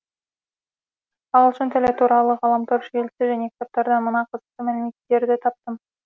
ағылшын тілі туралы ғаламтор желісі және кітаптардан мына қызықты мәліметтерді таптым